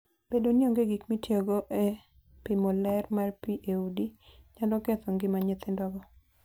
Bedo ni onge gik mitiyogo e pimo ler mar pi e udi, nyalo ketho ngima nyithindogo.